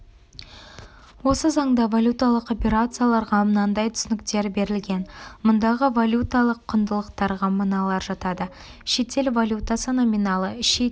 осы заңда валюталық операцияларға мынандай түсініктер берілген мұндағы валюталық құндылықтарға мыналар жатады шетел валютасы номиналы шетел